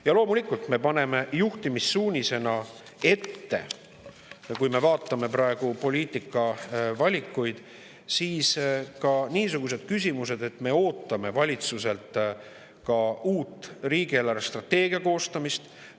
Ja loomulikult me paneme juhtimissuunisena ette – kui me vaatame praeguseid poliitikavalikuid, siis niisugused küsimused –, et me ootame valitsuselt uue riigi eelarvestrateegia koostamist.